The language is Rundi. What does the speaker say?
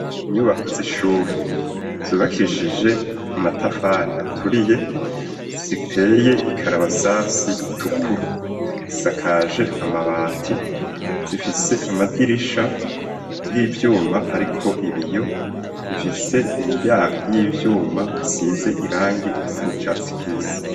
Inyubako z'ishuri zubakishije amatafari aturiye ziteye ikarabasasi itukura zisakaje amabati, zifise amadirisha y'ivyuma ariko ibiyo. Zifise imiryango y'ivyuma isize irangi risa n' icatsi kibisi.